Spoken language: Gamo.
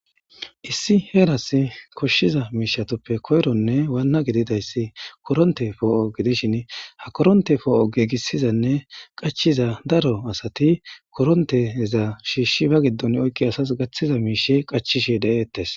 issi heeras koshshiza miishatoppe koyronne waanna gididayssi koronte poo7o gidishin ha koronte poo7o geegissizanne qachiza daro asati koronteza shiishshi ba giddon oykqi asas gaththiza miishe qachishe de7eettes